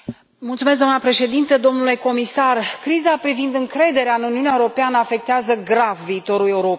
Doamnă președintă, domnule comisar, criza privind încrederea în Uniunea Europeană afectează grav viitorul Europei.